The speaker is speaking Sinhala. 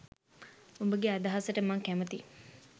උඹගෙ අදහසට මං කැමතියි.